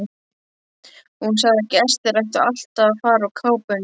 Hún sagði að gestir ættu alltaf að fara úr kápunni.